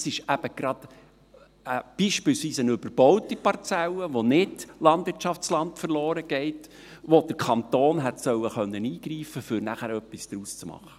Das ist eben gerade ein Beispiel für eine überbaute Parzelle, bei der kein Landwirtschaftsland verloren geht, wo der Kanton hätte eingreifen können sollen, um nachher etwas daraus zu machen.